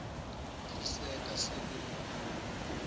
tiserta sibe nebunye